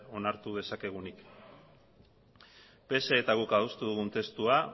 onartu dezakegunik psek eta guk adostu dugun testua